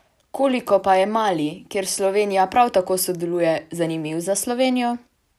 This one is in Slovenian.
Koliko pa je Mali, kjer Slovenija prav tako sodeluje, zanimiv za Slovenijo?